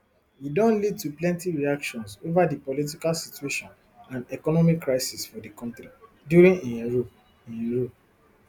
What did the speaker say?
e don lead to plenty reactions ova di political situation and economic crisis for di kontri during im rule im rule